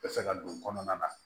Bɛ fɛ ka don kɔnɔna na